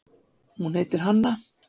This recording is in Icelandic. Hún heitir Hanna.